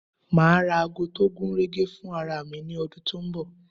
Ma ra ago tó gúnrégé fún ara mi ní ọdún tó ń bọ̀